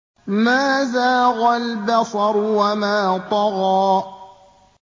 مَا زَاغَ الْبَصَرُ وَمَا طَغَىٰ